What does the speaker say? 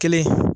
Kelen